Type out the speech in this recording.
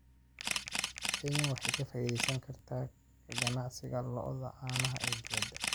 Kenya waxa ay ka faa�iidaysan kartaa ka ganacsiga lo�da caanaha ee dibadda.